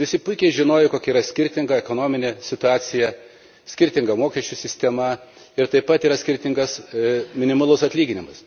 Ir visi puikiai žinojo kokia skirtinga ekonominė situacija, skirtinga mokesčių sistema ir taip yra skirtingas minimalus atlyginimas.